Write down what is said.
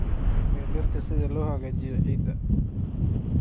ee dhirta si loo hagaajiyo ciidda.